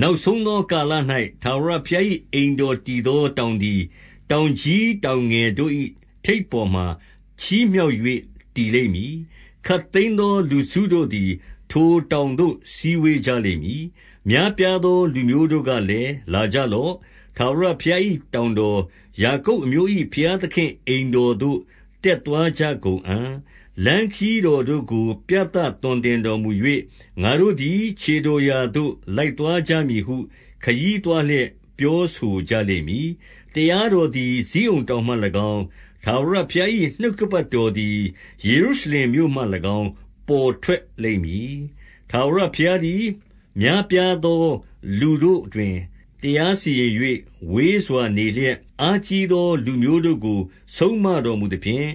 နောက်ဆုံးသော ကာလ၌ ထာဝရဘုရား၏ အိမ်တော်တည်သော တောင်သည် တောင်ကြီးတောင် ငယ်တို့၏ထိပ်ပေါ်မှာ ချီးမြှောက်၍ တည်လိမ့်မည်။ ခပ်သိမ်းသော လူစုတို့သည် ထိုတောင်သို့ စည်းဝေးကြ လိမ့်မည်။ များပြားသော လူမျိုးတို့ကလည်း၊ လာကြလော့။ ထာဝရဘုရား၏တောင်တော်၊ ယာကုပ်အမျိုး၏ ဘုရား သခင့်အိမ်တော်သို့ တက်သွားကြကုန်အံ့။ လမ်းခရီးတော် တို့ကို ပြသသွန်သင်တော်မူ၍၊ ငါတို့သည် ခြေတော်ရာသို့ လိုက်သွားကြမည်ဟု၊ ခရီးသွားလျက် ပြောဆိုကြလိမ့်မည်။ တရားတော်သည် ဇိအုန်တောင်မှ၎င်း၊ ထာဝရဘုရား၏ နှုတ်ကပတ်တော်သည် ယေရုရှလင်မြို့မှ၎င်း ပေါ်ထွက် လိမ့်မည်။ ထာဝရဘုရားသည် များပြားသော လူတို့တွင် တရားစီရင်၍၊ ဝေးစွာ နေလျက် အားကြီးသော လူမျိုး တို့ကို ဆုံးမတော်မူသဖြင့်၊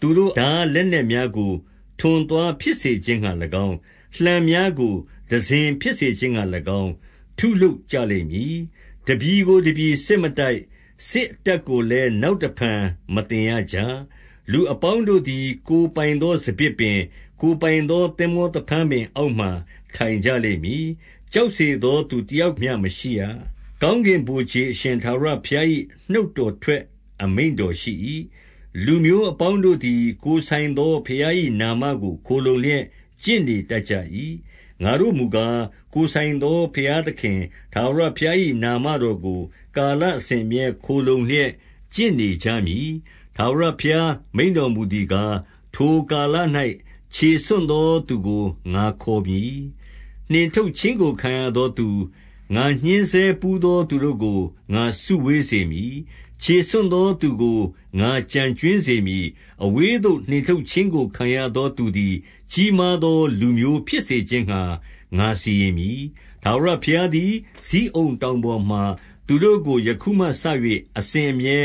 သူတို့ ထားလက်နက်များကို ထွန်သွားဖြစ်စေခြင်းငှါ၎င်း၊ လှံများကို တံစဉ်းဖြစ်စေခြင်း ငှါ၎င်း ထုလုပ်ကြလိမ့်မည်။ တပြည်ကိုတပြည်စစ်မတိုက်၊ စစ်အတတ်ကိုလည်း နောက်တဖန် မသင်ရကြ။ လူအပေါင်းတို့သည် ကိုယ်ပိုင်သော စပျစ်ပင်၊ ကိုယ်ပိုင်သော သင်္ဘောသဖန်းပင်အောက်မှာ ထိုင်ကြ လိမ့်မည်။ ကြောက်စေသော သူတယောက်မျှမရှိရ။ ကောင်းကင်ဗိုလ်ခြေအရှင်ထာဝရဘုရား၏ နှုတ်တော် ထွက်အမိန့်တော်ရှိ၏။ လူမျိုးအပေါင်းတို့သည် ကိုယ်ဆိုင်သော ဘုရား ၏နာမကို ခိုလှုံလျက် ကျင့်နေတတ်ကြ၏။ ငါတို့မူကား၊ ကိုယ်ဆိုင်သော ဘုရားသခင် ထာဝရဘုရား၏ နာမတော် ကို ကာလအစဉ်အမြဲ ခိုလှုံလျက် ကျင့်နေကြမည်။ ထာဝရဘုရားမိန့်တော်မူသည်ကား၊ ထိုကာလ၌ ခြေဆွံ့သောသူကို ငါခေါ်မည်။ နှင်ထုတ်ခြင်းကို ခံရသော သူ၊ ငါညှဉ်းဆဲဘူးသောသူတို့ကို ငါစုဝေးစေမည်။ ခြေဆွံ့သောသူကို ငါကျန်ကြွင်းစေမည်။ အဝေးသို့ နှင်ထုတ်ခြင်းကို ခံရသော သူသည် ကြီးမား သော လူမျိုးဖြစ်စေခြင်းငှါ ငါစီရင်မည်။ ထာဝရဘုရား သည် ဇိအုန်တောင်ပေါ်မှာ သူတို့ကို ယခုမှစ၍ အစဉ် အမြဲ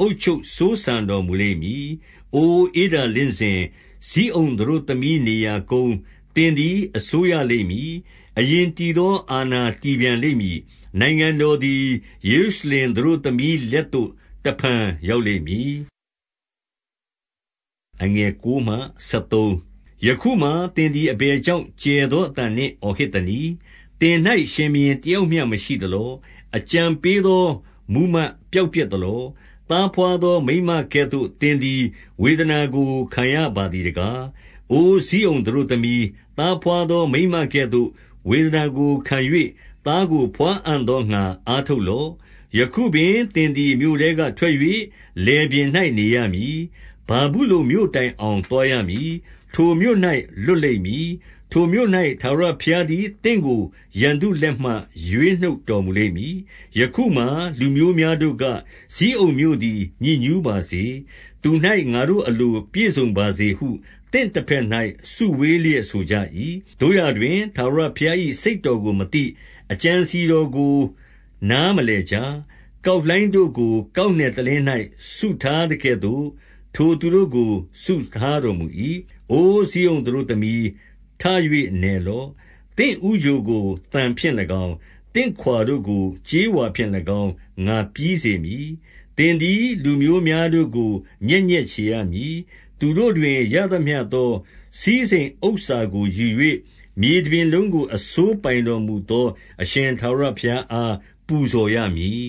အုပ်ချုပ်စိုးစံတော်မူလိမ့်မည်။ အိုဧဒါလင့်စင်၊ ဇိအုန်သတို့သမီး နေရာကုန်း၊ သင်သည် အစိုးရလိမ့်မည်။ အရင်တည်သော အာဏာ တည်ပြန်လိမ့်မည်။ နိုင်ငံတော်သည် ယေရုရှလင်သတို့ သမီးလက်သို့ တဖန် ရောက်လိမ့်မည်။ ယခုမှာ သင်သည် အဘယ်ကြောင့် ကျယ်သော အသံနှင့် အော်ဟစ်သနည်း။ သင်၌ ရှင်ဘုရင်တယောက် မျှ မရှိသလော။ အကြံပေးသော မှူးမတ်ပျောက်ပျက် သလော။ သားဘွားသောမိန်းမကဲ့သို့ သင်သည် ဝေဒနာ ကို ခံရပါသည်တကား။ အိုဇိအုန်သတို့သမီး၊ သားဘားသော မိန်းမကဲ့သို့ ဝေဒနာကို ခံ၍၊ သားကိုဘွားအံ့သောငှါ အားထုတ်လော့။ ယခုပင် သင်သည် မြို့ထဲကထွက်၍ လယ်ပြင်၌ နေရ မည်။ ဗာဗုလုန်မြို့တိုင်အောင် သွားရမည်။ ထိုမြို့၌ လွတ် လိမ့်မည်။ ထိုမြို့၌ ထာဝရဘုရားသည် သင့်ကို ရန်သူတို့ လက်မှ ရွေးနှုတ်တော်မူလိမ့်မည်။ ယခုမှာ လူမျိုးများတို့က၊ ဇိအုန်မြို့သည် ညစ် ညူးပါစေ။ သူ၌ ငါတို့အလို ပြည့်စုံပါစေဟု၊ သင့်တဘက် ၌ စုဝေးလျက် ဆိုကြ၏။ သို့ရာတွင်၊ ထာဝရဘုရား၏စိတ်တော်ကို မသိ၊ အကြံအစည်တော်ကို နားမလည်ကြ။ ကောက်လှိုင်းတို့ ကို ကောက်နယ်တလင်း၌ စုထားသကဲသို့၊ ထိုသူတို့ကို စုထားတော်မူ၏။ အို ဇိအုန်သတို့သမီး၊ ထ၍ နယ်လော့။ သင့် ဦးချိုကို သံဖြင့်၎င်း၊ သင့်ခွာတို့ကို ကြေးဝါဖြင့်၎င်း ငါပြီး စေမည်။ သင်သည် လူမျိုးများတို့ကို ညက်ညက်ချေရမည်။ သူတို့တွင်ရသမျှသော စည်းစိမ်ဥစ္စာကိုယူ၍၊ မြေတပြင် လုံးကို အစိုးပိုင်တော်မူသော အရှင်ထာဝရဘုရားအား ပူဇော်ရမည်